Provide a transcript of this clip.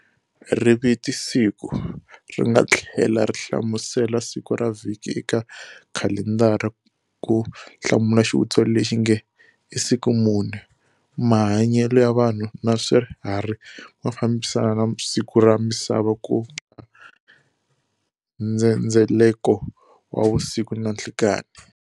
Riviti Siku, ringa thlela ri hlamusela siku ra vhiki eka khalendara ku hlamula xivutiso lexinge,"isiku muni?". Mahanyele ya vanhu na swiharhi mafambisana na siku ra misava kunga ndzhendzeleko wa vusiku na nhlikani.